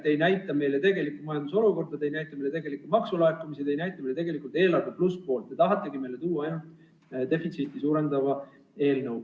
Te ei näita meile majanduse tegelikku olukorda, te ei näita tegelikku maksulaekumist, te ei näita tegelikult plusspoolt, te tahategi meile tuua defitsiiti suurendava eelnõu.